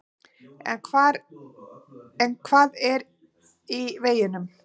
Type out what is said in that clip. En hvað er í veginum?